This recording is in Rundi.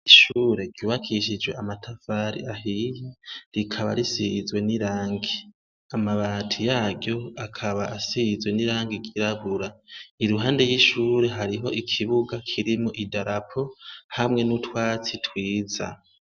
Ishure ryubakishijwe amatafari ahiye, rikaba risizwe n'irangi . Amabati yaryo akaba asizwe n'irangi ryirabura, iruhande y'ishure hariho ikibuga kirimwo idarapo hamwe n'utwatsi twiza.